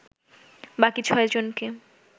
বাকি ছয়জনকে